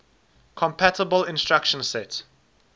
compatible instruction set